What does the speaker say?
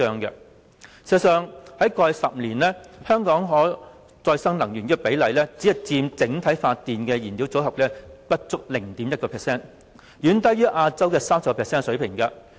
事實上，在過去10年，香港可再生能源只佔整體發電燃料組合不足 0.1%， 遠低於亞洲 30% 的水平。